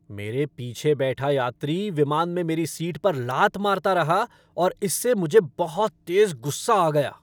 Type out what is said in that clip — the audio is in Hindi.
मेरे पीछे बैठा यात्री विमान में मेरी सीट पर लात मारता रहा और इससे मुझे बहुत तेज़ गुस्सा आ गया।